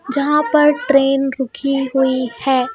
जहाँ पर ट्रेन रुकी हुई है.